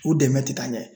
U dɛmɛ tɛ ka ɲɛ